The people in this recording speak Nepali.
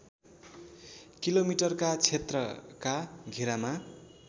किलोमिटरका क्षेत्रका घेरामा